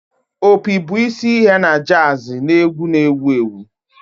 Opi bụ isi ihe na jazz na egwu na ewu ewu